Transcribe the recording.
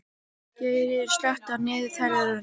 Geirríður, slökktu á niðurteljaranum.